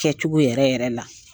Kɛcogo yɛrɛ yɛrɛ la.